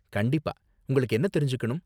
கண்டிப்பா, உங்களுக்கு என்ன தெரிஞ்சுக்கணும்?